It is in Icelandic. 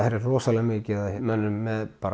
er rosalega mikið af mönnum með